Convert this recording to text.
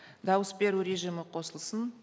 дауыс беру режимі қосылсын